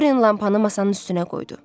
Dorian lampanı masanın üstünə qoydu.